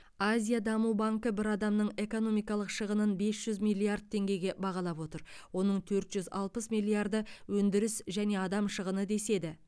азия даму банкі бір адамның экономикалық шығынын бес жүз миллиард теңгеге бағалап отыр оның төрт жүз алпыс миллиарды өндіріс және адам шығыны деседі